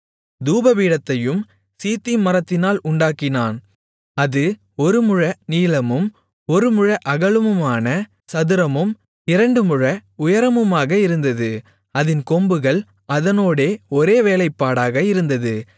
தூபபீடத்தையும் சீத்திம் மரத்தினால் உண்டாக்கினான் அது ஒரு முழ நீளமும் ஒரு முழ அகலமுமான சதுரமும் இரண்டு முழ உயரமுமாக இருந்தது அதின் கொம்புகள் அதனோடே ஒரே வேலைப்பாடாக இருந்தது